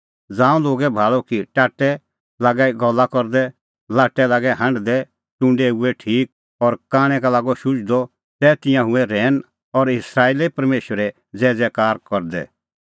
ज़ांऊं लोगै भाल़अ कि टाट्टै लागै गल्ला करदै लाट्टै लागै हांढदै टुंडै हुऐ ठीक और कांणै का लागअ शुझदअ तै तिंयां हुऐ रहैन और इस्राएले परमेशरे ज़ैज़ैकार करदै